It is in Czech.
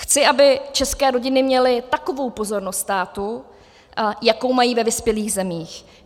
Chci, aby české rodiny měly takovou pozornost státu, jakou mají ve vyspělých zemích.